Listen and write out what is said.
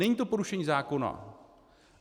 Není to porušení zákona.